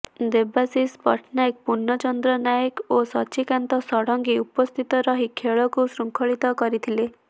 ଦେବାଶିଷ ପଟ୍ଟନାୟ ପୁର୍ଣ୍ଣଚନ୍ଦ୍ର ନାୟକ ଓ ସଚ୍ଚିକାନ୍ତ ଷଡଙ୍ଗୀ ଉପସ୍ଥିତ ରହି ଖେଳକୁ ଶୃଙ୍ଖଳିତ କରିଥିଲେ